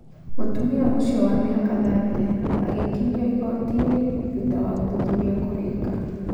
mũtumia ũcio wa mĩaka thate agakinyio igotinĩ thutha wa ũthuthuria kũrika